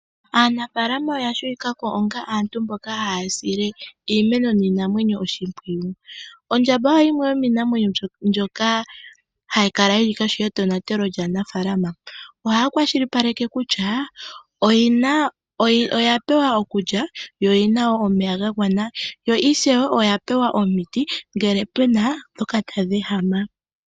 Aanafalama oya tseyikwako onga aantu mboka haya sile iimeno niinamweyo oshimpwiyu. Ondjamba oyo yimwe yomiinamwenyo mbyoka hayi kala yili kohi yetonatelo lyaanafalama, ohaya kwashilipaleke kutya oya pewa okulya yo oyi na omeya ga gwana yo ishewe oya pewa omiti ngele pu na ndhoka tadhi ehama.